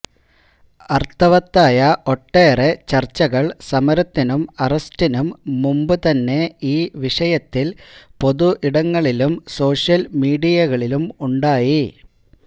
അര്ത്ഥവത്തായ ഒട്ടേറെ ചര്ച്ചകള് സമരത്തിനും അറസ്റ്റിനും മുന്പു തന്നെ ഈ വിഷയത്തില് പൊതു ഇടങ്ങളിലും സോഷ്യല് മീഡിയകളിലും ഉണ്ടായി